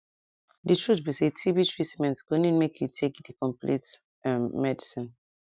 di truth be saytb treatment go need make you take di complete ehm medicine